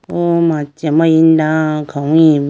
po machi amari da khawuyi bo.